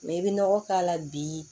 i bɛ nɔgɔ k'a la bi